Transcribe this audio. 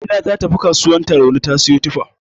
Amina ta tafi kasuwar Tarauni ta siyo tufa.